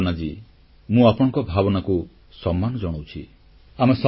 ନମସ୍କାର ଭାବନାଜୀ ମୁଁ ଆପଣଙ୍କ ଭାବନାକୁ ସମ୍ମାନ ଜଣାଉଛି